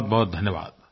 बहुतबहुत धन्यवाद